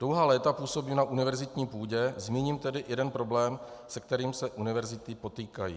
Dlouhá léta působím na univerzitní půdě, zmíním tedy jeden problém, se kterým se univerzity potýkají.